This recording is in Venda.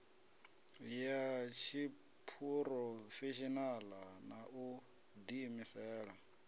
ya tshiphurofeshinala na u diimisela